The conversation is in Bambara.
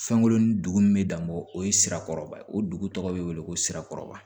Fɛnkurunnin duguni be dan bɔ o ye sira kɔrɔba ye o dugu tɔgɔ bɛ wele ko sirakɔrɔba